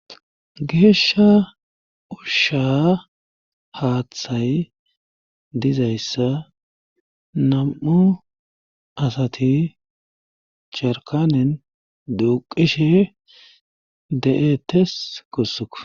geeshsha ushsha haaththay dizayssa nam7u asati jarkanen duuqishe de7etes gusuko